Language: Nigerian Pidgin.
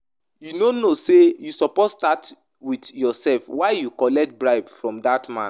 You no know say you suppose start with yourself? Why you collect bribe from dat man?